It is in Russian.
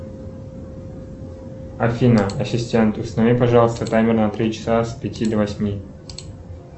афина ассистент установи пожалуйста таймер на три часа с пяти до восьми